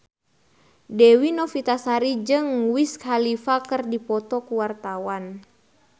Dewi Novitasari jeung Wiz Khalifa keur dipoto ku wartawan